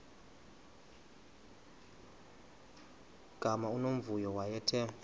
gama unomvuyo wayethe